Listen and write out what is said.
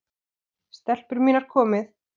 STELPUR MÍNAR, KOMIÐI!